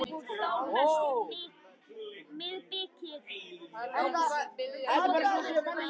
Ég held að allir sem til þekkja séu á einu máli um það.